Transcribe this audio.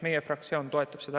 Meie fraktsioon toetab seda.